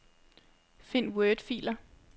Find wordfiler.